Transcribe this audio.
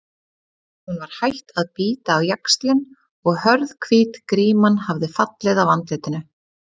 Hún var hætt að bíta á jaxlinn og hörð, hvít gríman hafði fallið af andlitinu.